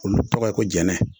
Olu tɔgɔ ye ko jɛnɛ